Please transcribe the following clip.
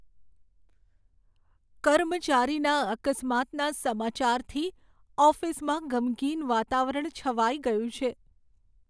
કર્મચારીના અકસ્માતના સમાચારથી ઓફિસમાં ગમગીન વાતાવરણ છવાઈ ગયું છે.